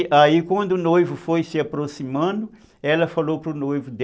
E aí quando o noivo foi se aproximando, ela falou para o noivo